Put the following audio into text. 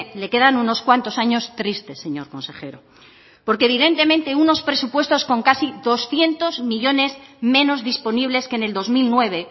le quedan unos cuantos años tristes señor consejero porque evidentemente unos presupuestos con casi doscientos millónes menos disponibles que en el dos mil nueve